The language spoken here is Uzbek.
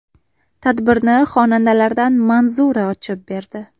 Tadbirni xonandalardan Manzura ochib berdi.